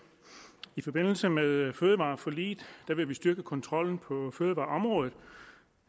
i forbindelse med fødevareforliget vil vi styrke kontrollen på fødevareområdet